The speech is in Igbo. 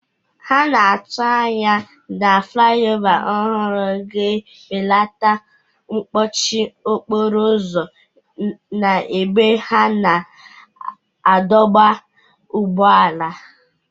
A na-atụ anya na fulaiova ọhụrụ ga-ebelata mkpọchi okporo ụzọ n'ebe a na-adọba ụgbọala.